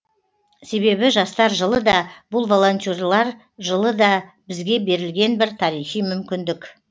себебі жастар жылы да бұл волонтерлар жылы да бізге берілген бір тарихи мүмкіндік